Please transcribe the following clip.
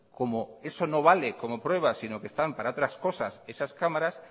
como eso no vale como prueba sino que están para otras cosas esas cámaras